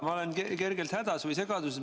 Ma olen kergelt hädas või segaduses.